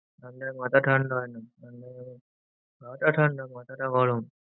ঠান্ডায় মাথা ঠান্ডা হয় না। হয়তো ঠান্ডা মাথাটা গরম।